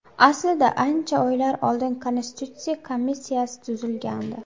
Aslida ancha oylar oldin Konstitutsiya komissiyasi tuzilgandi.